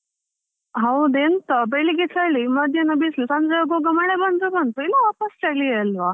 ಹೌದು, ಎಂತ ಬೆಳ್ಳಿಗೆ ಚಳಿ ಮಧ್ಯಾಹ್ನ ಬಿಸ್ಲು ಸಂಜೆ ಆಗುವಾಗ ಮಳೆ ಬಂದ್ರು ಬಂತು, ಇಲ್ಲ ವಾಪಾಸ್ ಚಳಿಯೇಅಲ್ವಾ.